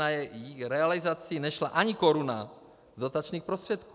Na její realizaci nešla ani koruna z dotačních prostředků.